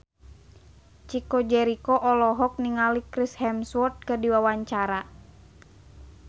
Chico Jericho olohok ningali Chris Hemsworth keur diwawancara